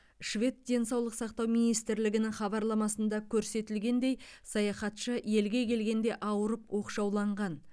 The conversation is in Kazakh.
швед денсаулық сақтау министрлігінің хабарламасында көрсетілгендей саяхатшы елге келгенде ауырып оқшауланған